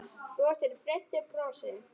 Brosir breiðu brosi.